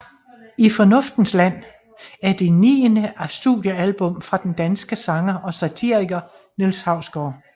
I fornuftens land er det niende studiealbum fra den danske sanger og satiriker Niels Hausgaard